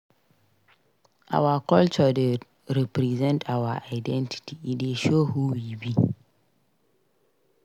Our culture dey represent our identity; e dey show who we be.